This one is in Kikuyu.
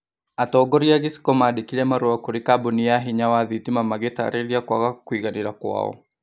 Atongoria a gĩcigo mandĩkire marũa kũrĩ kambũni ya hinya wa thitima magĩtarĩria kũaga kũiganĩra kwao